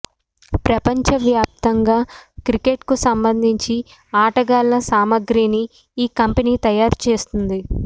ప్రపంచ వ్యాప్తంగా క్రికెట్కు సంబంధించి ఆటగాళ్ల సామాగ్రిని ఈ కంపెనీ తయారు చేస్తోంది